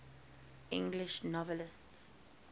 english novelists